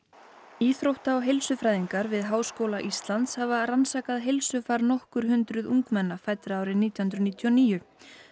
íþrótta og við Háskóla Íslands hafa rannsakað heilsufar nokkur hundruð ungmenna fæddra árið nítján hundruð níutíu og níu